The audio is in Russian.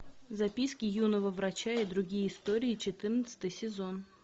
записки юного врача и другие истории четырнадцатый сезон